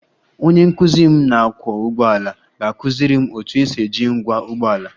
Onye nkuzi m na-akwọ ụgbọala ga-akụziri m otu esi eji ngwa ụgbọ ala